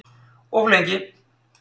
Of lengi